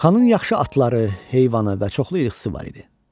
Xanın yaxşı atları, heyvanı və çoxlu ilxısı var idi.